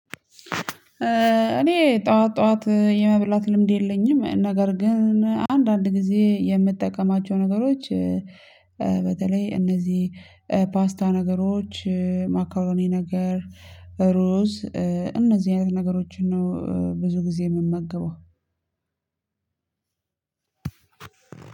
እኔ ጠዋት ጠዋት የመብላት ልምድ የለኝም። ነገር ግን አንዳንድ ጊዜ የምጠቀማቸው ነገሮች በተለይ እነዚህ ፓስታ ነገሮች ማካሮኔ ነገር ሩዝ እነዚህ አይነት ነገሮችን ነው ብዙ ጊዜ የምመገበው